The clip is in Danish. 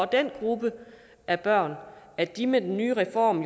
den gruppe af børn at de med den nye reform